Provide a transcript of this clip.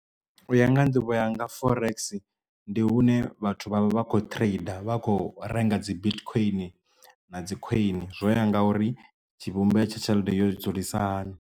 U ya nga nḓivho ya nga forex ndi hune vhathu vha vha vha kho trade vha kho renga dzi bitcoin na dzi coin zwo ya ngauri tshivhumbeo tsha tshelede yo dzulesa hani.